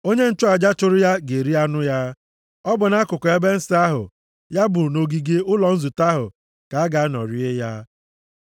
Onye nchụaja chụrụ ya ga-eri anụ ya, ọ bụ nʼakụkụ ebe nsọ ahụ, ya bụ nʼogige ụlọ nzute ahụ ka a ga-anọ rie ya.